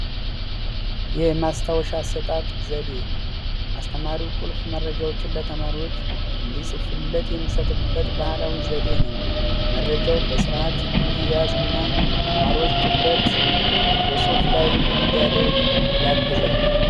የማስታወሻ አሰጣጥ ዘዴ አስተማሪ ቁልፍ መረጃዎችን ለተማሪዎች እንዲፅፍለት የሚሰጥበት ባህላዊ ዘዴ ነው መረጃው በስርዓት እንዲያዝና ተማሪዎች ጽፍ ላይ ትኩረት እንዲያደርግ ያግዛል።